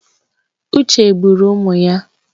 Uche gburu ụmụ ya.